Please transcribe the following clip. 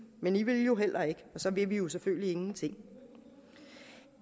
men i ville jo heller ikke og så vil vi jo selvfølgelig ingenting